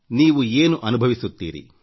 ನೀವು ಏನು ಅನುಭವಿಸುತ್ತೀರಿ